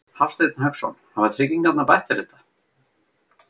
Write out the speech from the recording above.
Hafsteinn Hauksson: Hafa tryggingarnar bætt þér þetta?